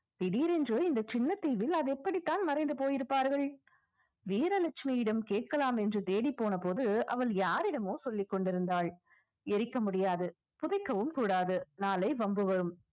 திடீரென்று இந்த சின்ன தீவில் அது எப்படித்தான் மறைந்து போயிருப்பார்கள் வீரலட்சுமியிடம் கேட்கலாம் என்று தேடிப்போன போது அவள் யாரிடமோ சொல்லிக் கொண்டிருந்தாள் எரிக்க முடியாது புதைக்கவும் கூடாது நாளை வம்பு வரும்